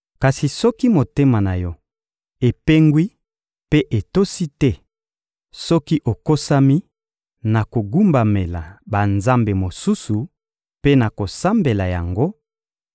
Kasi soki motema na yo epengwi mpe otosi te, soki okosami na kogumbamela banzambe mosusu mpe na kosambela yango,